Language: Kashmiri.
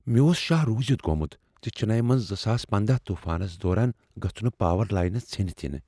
مےٚ اوس شہہ روزِتھ گومت ز چننے منٛز زٕساس پندہَ طوفانس دوران گژھٕ نہٕ پاور لاینہ ژھیٚنتھ ینیِہ